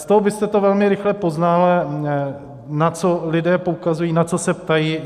Z toho byste to velmi rychle poznal, na co lidé poukazují, na co se ptají.